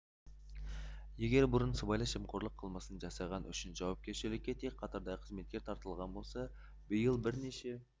егер бұрын сыбайлас жемқорлық қылмысын жасаған үшін жауапкершілікке тек қатардағы қызметкер тартылған болса биыл бірнеше